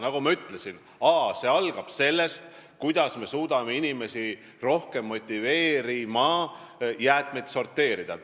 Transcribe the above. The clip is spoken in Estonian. Nagu ma ütlesin, see algab sellest, kuidas me suudame inimesi rohkem motiveerida jäätmeid sorteerima.